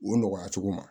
O nɔgɔya cogo ma